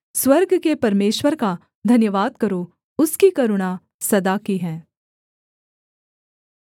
स्वर्ग के परमेश्वर का धन्यवाद करो उसकी करुणा सदा की है